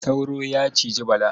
Sauro ya ciji Bala.